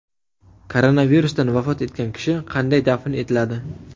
Koronavirusdan vafot etgan kishi qanday dafn etiladi?